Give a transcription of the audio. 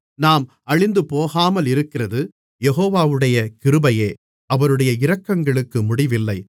நாம் அழிந்துபோகாமலிருக்கிறது யெகோவாவுடைய கிருபையே அவருடைய இரக்கங்களுக்கு முடிவில்லை